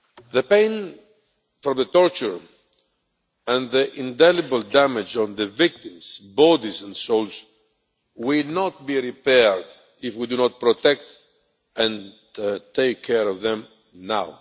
The pain from the torture and the indelible damage on the victims' bodies and souls will not be repaired if we do not protect and take care of them now.